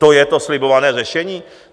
To je to slibované řešení?